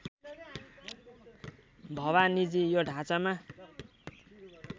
भवानीजी यो ढाँचामा